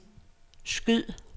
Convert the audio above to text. skyd